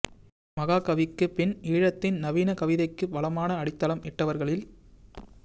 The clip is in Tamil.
மகாகவிக்குப் பின் ஈழத்தின் நவீன கவிதைக்கு பலமான அடித்தளம் இட்டவர்களில்